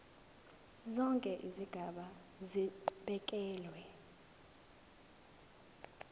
zonke izigaba zibekelwe